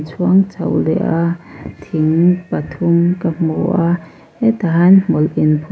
chho leh a thingg pathum ka hmu a hetah hian hmawlh inphun--